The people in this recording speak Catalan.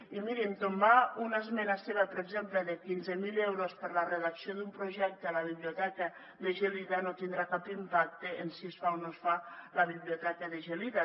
i mirin tombar una esmena seva per exemple de quinze mil euros per a la redacció d’un projecte a la biblioteca de gelida no tindrà cap impacte en si es fa o no es fa la biblioteca de gelida